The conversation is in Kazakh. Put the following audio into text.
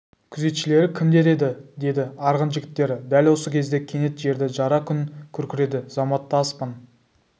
күзетшілері кімдер еді деді арғын жігіттері дәл осы кезде кенет жерді жара күн күркіреді заматта аспан